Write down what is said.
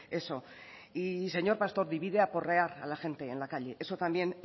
eso y señor pastor divide aporrear a la gente en la calle eso también